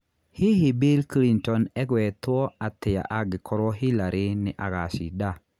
Hihi Bill Clinton egetwo atĩa angĩkorũo Hillary nĩ agaacinda?